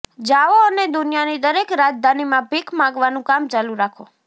જાઓ અને દુનિયાની દરેક રાજધાનીમાં ભીખ માગવાનું કામ ચાલુ રાખો